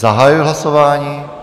Zahajuji hlasování.